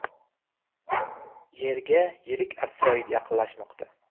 Yerga yirik asteroid yaqinlashmoqda.